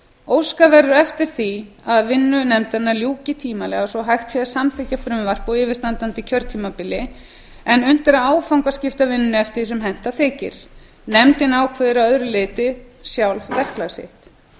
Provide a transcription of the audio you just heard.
óskað verður eftir því að vinnu nefndarinnar ljúki tímanlega svo að hægt sé að samþykkja frumvarp á yfirstandandi kjörtímabili en unnt er að áfangaskipta vinnunni eftir því sem henta þykir nefndin ákveður að öðru leyti sjálf verklag sitt